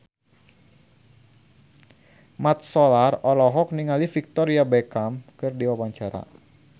Mat Solar olohok ningali Victoria Beckham keur diwawancara